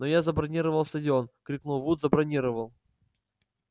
но я забронировал стадион крикнул вуд забронировал